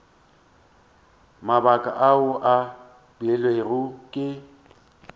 mabaka ao a beilwego ke